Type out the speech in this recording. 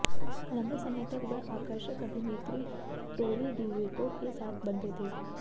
लंबे समय तक वह आकर्षक अभिनेत्री टोरी डेविटो के साथ बंधे थे